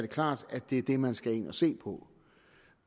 klart at det er det man skal ind at se på